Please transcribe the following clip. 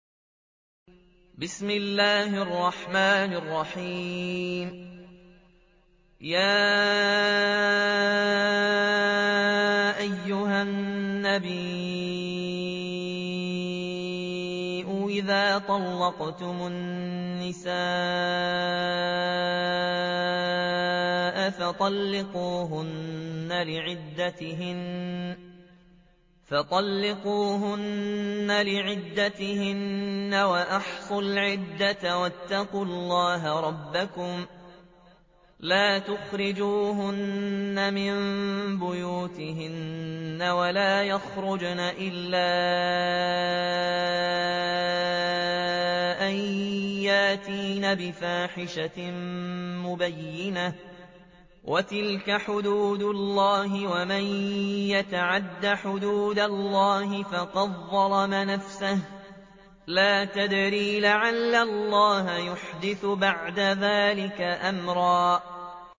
يَا أَيُّهَا النَّبِيُّ إِذَا طَلَّقْتُمُ النِّسَاءَ فَطَلِّقُوهُنَّ لِعِدَّتِهِنَّ وَأَحْصُوا الْعِدَّةَ ۖ وَاتَّقُوا اللَّهَ رَبَّكُمْ ۖ لَا تُخْرِجُوهُنَّ مِن بُيُوتِهِنَّ وَلَا يَخْرُجْنَ إِلَّا أَن يَأْتِينَ بِفَاحِشَةٍ مُّبَيِّنَةٍ ۚ وَتِلْكَ حُدُودُ اللَّهِ ۚ وَمَن يَتَعَدَّ حُدُودَ اللَّهِ فَقَدْ ظَلَمَ نَفْسَهُ ۚ لَا تَدْرِي لَعَلَّ اللَّهَ يُحْدِثُ بَعْدَ ذَٰلِكَ أَمْرًا